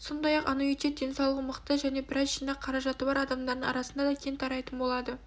сондай-ақ аннуитет денсаулығы мықты және біраз жинақ қаражаты бар адамдардың арасында да кең тарайтын болады